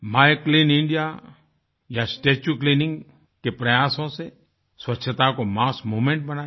my clean इंडियाया स्टेच्यू Cleaningके प्रयासों से स्वच्छता को मस्स मूवमेंट बनाया